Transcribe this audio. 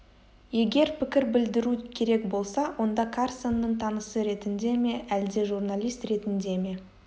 егер пікір білдіру керек болса онда карсонның танысы ретінде ме әлде журналист ретінде ме